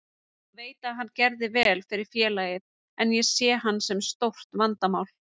Ég veit að hann gerði vel fyrir félagið, en ég sé hann sem stórt vandamál.